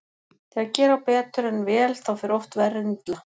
Þegar gera á betur en vel þá fer oft verr en illa.